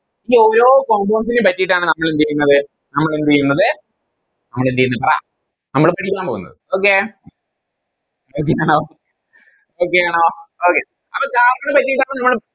ഈ ഓരോ Compounds നെ പറ്റിട്ടാണ് നമ്മളെന്തേയുന്നത് നമ്മൾഎന്ത്ചെയ്യുന്നത് നമ്മൾഎന്ത്ചെയ്യുന്നത് പറ നമ്മൾ പഠിക്കാൻ പോകുന്നത് Okay Okay ആണോ Okay ആണോ Okay അപ്പൊ Carbon ണെ പറ്റിട്ടാണ് നിങ്ങള്